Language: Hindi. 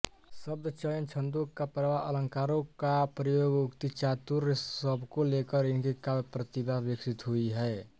शब्दचयन छंदों का प्रवाह अलंकारों का प्रयोग उक्तिचातुर्य सबको लेकर इनकी काव्यप्रतिभा विकसित हुई है